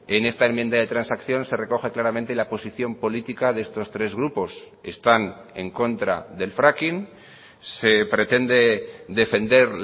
en esta enmienda de transacción se recoge claramente la posición política de estos tres grupos están en contra del fracking se pretende defender